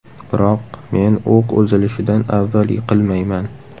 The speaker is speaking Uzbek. Biroq men o‘q uzilishidan avval yiqilmayman.